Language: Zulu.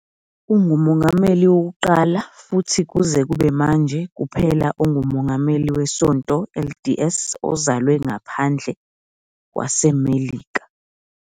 Ungumongameli wokuqala futhi kuze kube manje kuphela ongumongameli weSonto LDS ozalwe ngaphandle kwaseMelika.